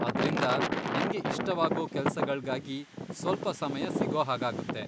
ಅದ್ರಿಂದ ನಂಗೆ ಇಷ್ಟವಾಗೋ ಕೆಲ್ಸಗಳ್ಗಾಗಿ ಸ್ವಲ್ಪ ಸಮಯ ಸಿಗೋಹಾಗಾಗುತ್ತೆ.